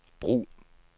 brug